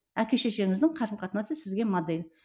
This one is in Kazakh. әке шешеңіздің қарым қатынасы сізге модель